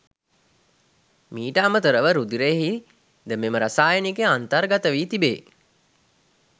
මීට අමතරව රුධිරයෙහි ද මෙම රසායනිකය අන්තර්ගත වී තිබේ.